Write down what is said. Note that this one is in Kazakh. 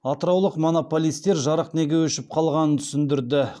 атыраулық монополистер жарық неге өшіп қалғанын түсіндірді